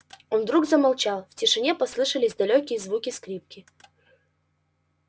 он вдруг замолчал в тишине послышались далёкие звуки скрипки